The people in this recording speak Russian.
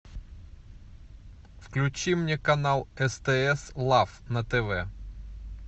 включи мне канал стс лав на тв